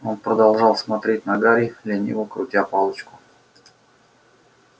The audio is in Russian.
он продолжал смотреть на гарри лениво крутя палочку